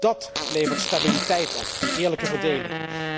Dat levert stabiliteit op, die eerlijke verdeling.